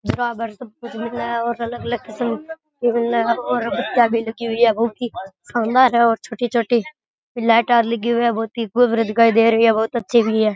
और छोटी छोटी लाइट लगी हुई है बहुत अच्छी भी है।